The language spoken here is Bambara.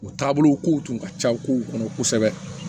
U taabolo kow tun ka ca kow kɔnɔ kosɛbɛ